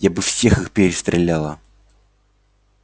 я бы всех их перестреляла